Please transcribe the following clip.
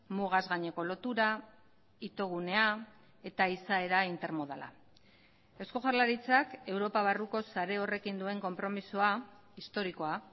mugaz gaineko lotura itogunea eta izaera intermodala eusko jaurlaritzak europa barruko sare horrekin duen konpromisoa historikoa